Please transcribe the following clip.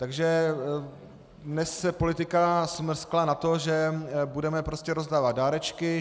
Takže dnes se politika smrskla na to, že budeme prostě rozdávat dárečky.